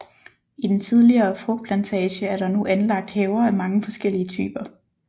I den tidligere frugtplantage er der nu anlagt haver af mange forskellige typer